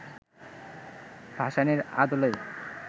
ভাসানীর আদলের